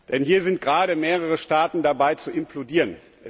Denn hier sind gerade mehrere Staaten dabei zu implodieren.